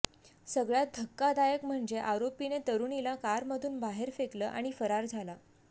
सगळ्यात धक्कादायक म्हणजे आरोपीने तरुणीला कारमधून बाहेर फेकलं आणि फरार झाला